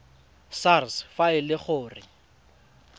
sars fa e le gore